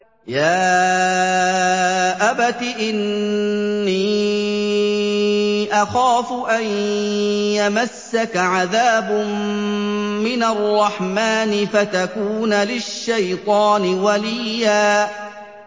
يَا أَبَتِ إِنِّي أَخَافُ أَن يَمَسَّكَ عَذَابٌ مِّنَ الرَّحْمَٰنِ فَتَكُونَ لِلشَّيْطَانِ وَلِيًّا